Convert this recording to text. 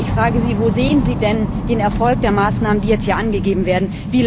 Ich frage Sie Wo sehen Sie denn den Erfolg der Maßnahmen, die jetzt hier angegeben werden?